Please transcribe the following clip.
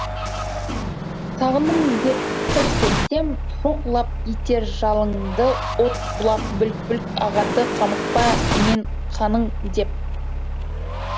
сағындым деп сыр шертсем шоқ лап етер жалынды от бұлақ бүлк бүлк ағады қамықпа мен қаның деп